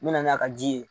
Me na n'a ka ji ye